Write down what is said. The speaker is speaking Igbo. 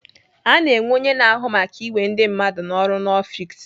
Ana enwe onye na-ahụ maka iwe ndị mmadụ n'ọrụ n'ọfiks.